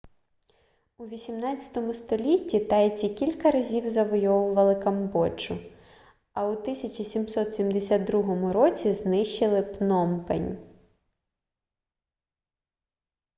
у 18 столітті тайці кілька разів завойовували камбоджу а у 1772 році знищили пномпень